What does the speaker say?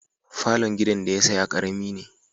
Falon gidan da ya saya karami ne.